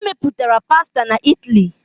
E mepụtara pasta na Italy.